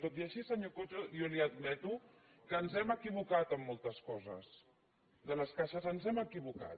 tot i així senyor coto jo li admeto que ens hem equi·vocat en moltes coses de les caixes ens hem equivo·cat